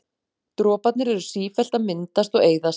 Droparnir eru sífellt að myndast og eyðast.